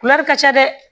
ka ca dɛ